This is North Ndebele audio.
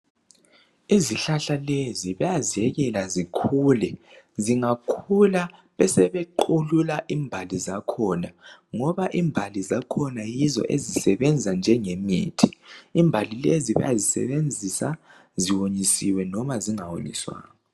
Izihlahla lezi bayaziyekela zikhule zingakhula besebe qhulula imbali zakhona ngoba imbali zakhona yizo ezisebenza njengemithi .Imbali lezi bayazisebenzisa ziwonyisiwe noma zingawonyiswanga.